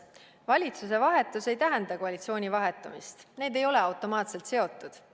valitsuse vahetus ei tähenda koalitsiooni vahetumist – need ei ole omavahel automaatselt seotud.